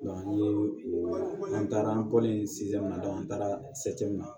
n ye n taara an bɔlen an taara min na